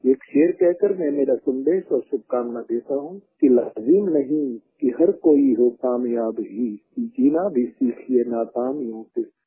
एक शेर कह कर मैं मेरा सन्देश और शुभकामना देता हूँ लाज़िम नहीं कि हर कोई हो कामयाब ही जीना भी सीखिए नाकामियों के साथ